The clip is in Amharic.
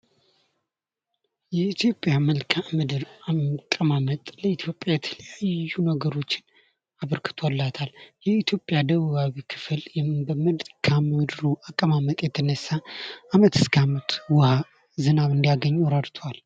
የኢትዮጵያ መልካም ምድር አቀማመጥ ለኢትዮጵያ የተለያዩ ነገሮችን አበርክቶላታል የኢትዮጵያ ደቡባዊ ክፍል ከመልካም ድር አቀማመጥ የተነሳ ከአመት እስከ ዓመት ውሃ ዝናብ እንዲያገኙ እረድቷል።